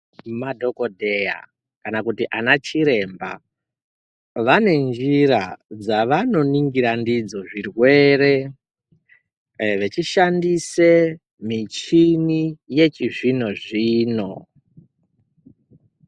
Madhokoteya kana kuti ana chiremba vanenjira dzavano ningira ndidzo zvirwere vechishandise michini yechi zvino -zvino.